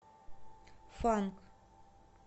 фанк